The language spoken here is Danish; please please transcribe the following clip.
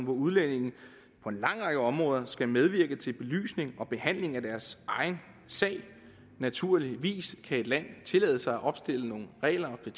udlændinge på en lang række områder skal medvirke til belysning og behandling af deres egen sag naturligvis kan et land tillade sig at opstille nogle regler og